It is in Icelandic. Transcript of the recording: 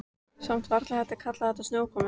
Samt varla hægt að kalla þetta snjókomu.